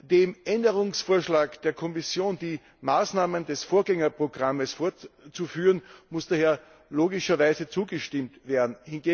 Dem Änderungsvorschlag der Kommission, die Maßnahmen des Vorgängerprogramms fortzuführen, muss daher logischerweise zugestimmt werden.